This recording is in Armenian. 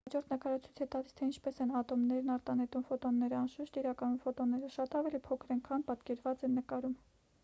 հաջորդ նկարը ցույց է տալիս թե ինչպես են ատոմներն արտանետում ֆոտոնները անշուշտ իրականում ֆոտոնները շատ ավելի փոքր են քան պատկերված են նկարում